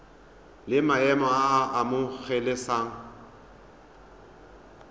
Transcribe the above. la maemo a a amogelesegang